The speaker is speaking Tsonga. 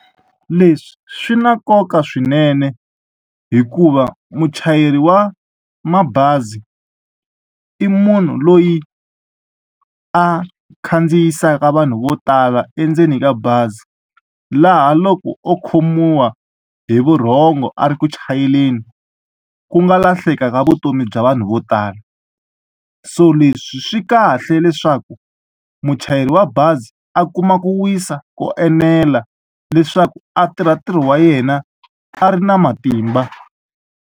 Leswi swi na nkoka swinene hikuva muchayeri wa mabazi i munhu loyi a khandziyisaka vanhu vo tala endzeni ka bazi laha loko o khomiwa hi vurhongo a ri ku chayeleni ku nga lahleka ka vutomi bya vanhu vo tala so leswi swi kahle leswaku muchayeri wa bazi a kuma ku wisa ko enela leswaku a tirha ntirho wa yena a ri na matimba.